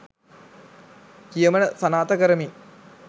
කියමන සනාථ කරමි